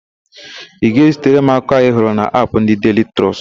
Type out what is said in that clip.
Ị ga-ezitara m akụkọ ahụ ị hụrụ n'Apụ ndị Deili Trọst?